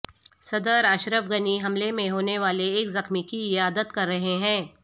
صدر اشرف غنی حملے میں ہونے والے ایک زخمی کی عیادت کر رہے ہیں